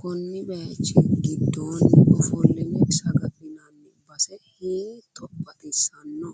konni baayichi gidoonni ofoline saga'linanni base hiitto baxisanno